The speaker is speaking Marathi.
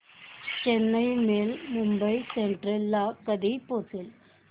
चेन्नई मेल मुंबई सेंट्रल ला कधी पोहचेल